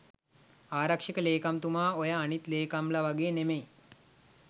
ආරක්ෂක ලේකම්තුමා ඔය අනිත් ලේකම්ලා වගේ නෙවෙයි.